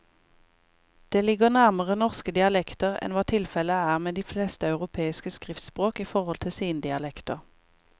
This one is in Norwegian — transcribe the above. Det ligger nærmere norske dialekter enn hva tilfellet er med de fleste europeiske skriftspråk i forhold til sine dialekter.